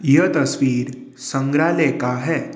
यह तस्वीर संग्रहालय का है।